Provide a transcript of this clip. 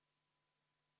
V a h e a e g